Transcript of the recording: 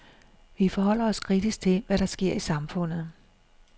Vi forholder os kritisk til, hvad der sker i samfundet.